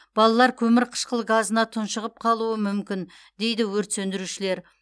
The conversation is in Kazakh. балалар көмірқышқыл газына тұншығып қалуы мүмкін дейді өрт сөндірушілер